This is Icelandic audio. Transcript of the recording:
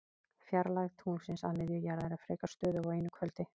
Fjarlægð tunglsins að miðju jarðar er frekar stöðug á einu kvöldi.